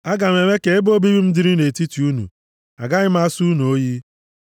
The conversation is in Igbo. Aga m eme ka ebe obibi m dịrị nʼetiti unu. Agaghị m asọ unu oyi.